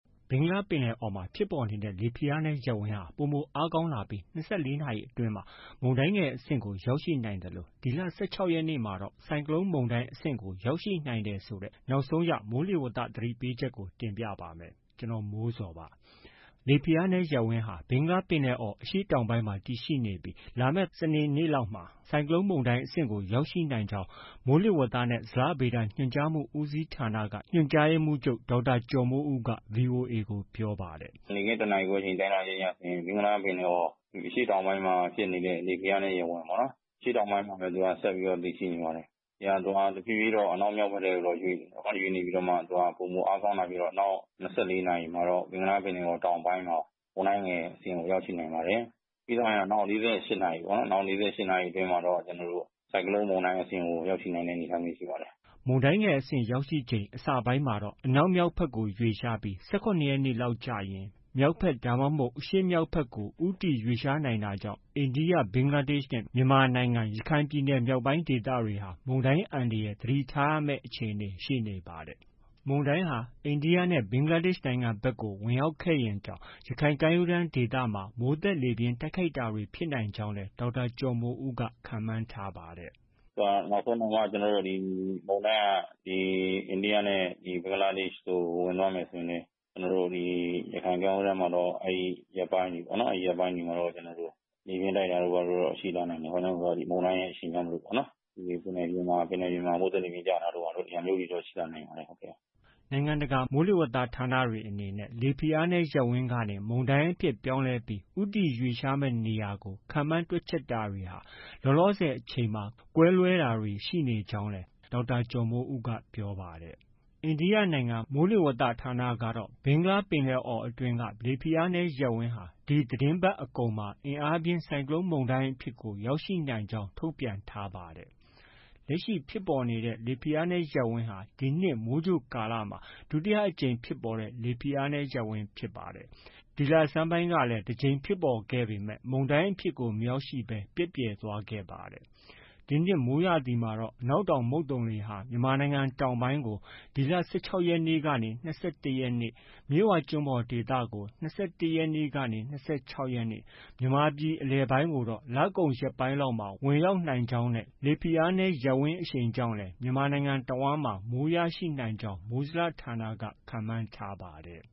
ဘင်္ဂလားပင်လယ်အော်မှာ လက်ရှိဖြစ်ပေါ်နေတဲ့ လေဖိအားနည်းရပ်ဝန်းဟာ ပိုမိုအားကောင်းလာပြီး ၂၄ နာရီအတွင်းမှာ မုန်တိုင်းငယ်အဆင့်ကို ရောက်ရှိနိုင်သလို ဒီလ ၁၆ ရက်နေ့မှာတော့ ဆိုင်ကလုန်းမုန်တိုင်းအဆင့်ကို ရောက်ရှိနိုင်တယ်ဆိုတဲ့ နောက်ဆုံးရ မိုးလေဝသ သတိပေးချက်ကို ဗွီအိုအေ မြန်မာပိုင်းသတင်းထောက် ကိုမိုးဇော်က တင်ပြပေးပါမယ်။ လေဖိအားနည်းရပ်ဝန်းဟာ ဘင်္ဂလားပင်လယ်အော် အရှေ့တောင်ပိုင်းမှာ တည်ရှိနေပြီး လာမယ့် သောကြာနေ့မှာ ဆိုင်ကလုန်းမုန်တိုင်းအဆင့်ကို ရောက်ရှိနိုင်ကြောင်း မိုးလေဝသနဲ့ ဇလဗေဒညွှန်ကြားမှု ဦးစီးဌာနက ညွှန်ကြားရေးမှူးချုပ် ဒေါက်တာကျော်မိုးဦးက VOA ကို ပြောပါတယ်။ “နေ့ခင်း ၁နာရီခွဲအကျော် တိုင်းထွာချက်အရဆိုရင် ဘင်္ဂလားပင်လယ်အော် အရှေ့တောင်ပိုင်းမှာ ဖြစ်နေတဲ့ လေဖိအားနည်း ရပ်ဝန်းဟာ အရှေ့တောင်ပိုင်းမှာပဲ ဆက်ပြီးတည်ရှိနေပါတယ်။ သူဟာ တဖြည်းဖြည်းတော့ အနောက်မြောက်ဘက်ထဲကို ရွှေ့နေပြီးတော့မှ ပိုမိုအားကောင်းလာပြီးတော့မှ နောက် ၂၄ နာရီမှာတော့ ဘင်္ဂလားပင်လယ်အော် တောင်ပိုင်းမှာ မုန်တိုင်းငယ်အဆင့်ကို ရောက်ရှိနိုင်ပါတယ်။ ပြီးသွားရင်တော့ နောက် ၄၈ နာရီအတွင်းမှာတော့ ဆိုင်ကလုန်းမုန်တိုင်းအဆင့်ကို ရောက်ရှိနိုင်တဲ့ အနေအထားမျိုး ရှိပါတယ်။” မုန်တိုင်းငယ်အဆင့်ရောက်ရှိချိန် အစပိုင်းမှာတော့ အနောက် မြောက်ဘက်ကိုရွှေ့ပြီး ၁၇ ရက်နေ့လောက်ကျရင် မြောက်၊ အရှေ့မြောက်ဘက်ကို ဦးတည်ရွှေ့လျားနိုင်တာကြောင့် အိန္ဒိယ၊ ဘင်္ဂလားဒေ့ရှ်နဲ့ မြန်မာနိုင်ငံ ရခိုင်ပြည်နယ်မြောက်ပိုင်းဒေသတွေဟာ မုန်တိုင်းအန္တရာယ် သတိထားရမယ့် အခြေအနေ ရှိနေပါတယ်။ မုန်တိုင်းဟာ အိန္ဒိယနဲ့ ဘင်္ဂလားဒေ့ရှ်နိုင်ငံဘက်က ဝင်ရောက်ခဲ့ရင်တောင် ရခိုင်ကမ်းရိုးတန်းဒေသမှာ မိုးသက်လေပြင်းတိုက်ခိုက်တာတွေ ဖြစ်နိုင်ကြောင်းလည်း ဒေါက်တာ ကျော်မိုးဦးက ခန့်မှန်းထားပါတယ်။ “သူက နောက်ဆုံးတောင်မှ မုန်တိုင်းက အိန္ဒိယနဲ့ ဘင်္ဂလားဒေ့ရှ်ကို ဝင်တော့မယ်ဆိုရင် ကျနော်တို့ ရခိုင်ကမ်းရိုးတန်းမှာတော့ အဲဒီရက်ပိုင်းတွေမှာတော့ လေပြင်းတိုက်တာတို့ ဘာတို့ ရှိလာနိုင်တာပေါ့။ ဒီမုန်တိုင်းရဲ့ အရှိန်ကြောင့်မို့လို့ပေါ့ ပင်လယ်ပြင်မှာ မိုးသက်လေပြင်းကျတာတို့ ဘာတို့ ဒီဟာမျိုးတွေတော့ ရှိလာနိုင်ပါတယ်။” နိုင်ငံတကာမိုးလေဝသ ဌာနတွေအနေနဲ့ လေဖိအားနည်းရပ်ဝန်းကနေ မုန်တိုင်းအဖြစ် ပြောင်းလဲပြီး ဦးတည်ရွှေ့လျားမယ့် နေရာကို ခန့်မှန်းတွက်ချက်တာတွေဟာ လောလောဆည်အချိန်မှာ ကွဲလွဲတာတွေ ရှိနေကြောင်းလည်း ဒေါက်တာ ကျော်မိုးဦးက ပြောပါတယ်။ အိန္ဒိယနိုင်ငံ မိုးလေဝသ ဌာနကတော့ ဘင်္ဂလားပင်လယ်အော်အတွင်းက လေဖိအားနည်း ရပ်ဝန်းဟာ ဒီသတင်းပတ်အကုန်မှာ အင်အားပြင်း ဆိုင်ကလုန်း မုန်တိုင်းအဖြစ်သို့ ရောက်ရှိနိုင်ကြောင်း ထုတ်ပြန်ထား ပါတယ်။ လက်ရှိ ဖြစ်ပေါ်နေတဲ့ လေဖိအားနည်းရပ်ဝန်းဟာ ဒီနှစ် မိုးကြိုကာလမှာ ဒုတိယအကြိမ်ဖြစ်ပေါ်တဲ့ လေဖိအားနည်း ရပ်ဝန်းဖြစ်ပါတယ်။ဒီလဆန်းပိုင်းကလည်း တစ်ကြိမ်ဖြစ်ပေါ်ခဲ့ပေမဲ့ မုန်တိုင်းအဖြစ်ကို မရောက်ရှိဘဲ ပျက်ပြယ်သွားခဲ့ပါတယ်။ ဒီနှစ် မိုးရာသီမှာတော့ အနောက်တောင်မုတ်သုန်လေဟာ မြန်မာနိုင်ငံတောင်ပိုင်းကို ဒီလ ၁၆ ကနေ ၂၁ ရက်နေ့၊ မြစ်ဝကျွန်းပေါ်ဒေသကို ၂၁ ကနေ့ ၂၆ ရက်နေ့၊ မြန်မာပြည်အလယ်ပိုင်းကိုတော့ လကုန်ရက်ပိုင်းလောက်မှာ ဝင်ရောက်နိုင်ကြောင်း လေဖိအားနည်းရပ်ဝန်းအရှိန်ကြောင့်လည်း မြန်မာနိုင်ငံတဝှမ်းမှာ မိုးရရှိနိုင်ကြောင်း မိုးဇလဌာနက ခန့်မှန်းထားပါတယ်